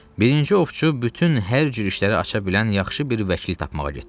Birinci ovçu bütün hər cür işləri aça bilən yaxşı bir vəkil tapmağa getdi.